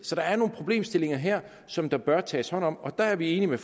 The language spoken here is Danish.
så der er nogle problemstillinger her som der bør tages hånd om og der er vi enige med